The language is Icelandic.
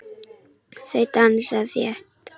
Þau dansa þétt.